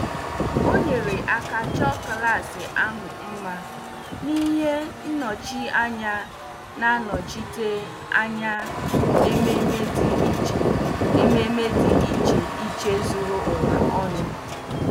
O nyere aka chọọ klas ahụ mma na ihe nnọchianya na-anọchite anya ememe dị iche ememe dị iche iche zuru ụwa ọnụ.